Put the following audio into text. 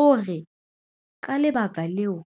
O re, "Ka lebaka leo,